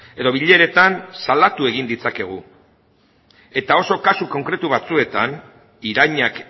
edo bileretan salatu egin ditzakegu eta oso kasu konkretu batzuetan irainak